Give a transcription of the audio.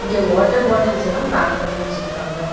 இங்க வாட்டர் பாட்டில்ஸ்லா பேக் பண்ணி வெச்சிருக்காங்க.